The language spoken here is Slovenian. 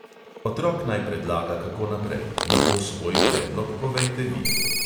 Otrok naj predlaga, kako naprej, nato svoj predlog povejte vi.